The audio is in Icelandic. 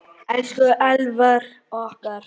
Elsku Elvar okkar.